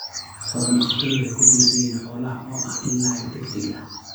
Xoolo-dhaqatada waxay ku tiirsan yihiin xoolaha oo ah il lacag degdeg ah.